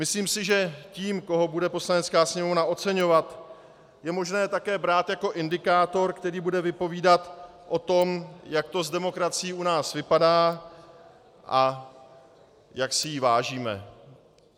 Myslím si, že to, koho bude Poslanecká sněmovna oceňovat, je možné také brát jako indikátor, který bude vypovídat o tom, jak to s demokracií u nás vypadá a jak si jí vážíme.